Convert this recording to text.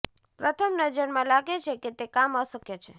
પ્રથમ નજરમાં લાગે છે કે તે કામ અશક્ય છે